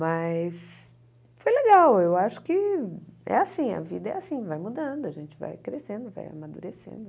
Mas foi legal, eu acho que é assim, a vida é assim, vai mudando, a gente vai crescendo, vai amadurecendo.